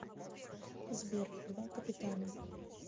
сбер два капитана